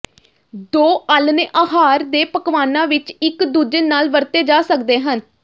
ਦੋ ਆਲ੍ਹਣੇ ਆਹਾਰ ਦੇ ਪਕਵਾਨਾਂ ਵਿਚ ਇਕ ਦੂਜੇ ਨਾਲ ਵਰਤੇ ਜਾ ਸਕਦੇ ਹਨ